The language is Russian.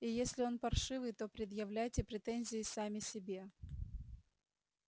и если он паршивый то предъявляйте претензии сами себе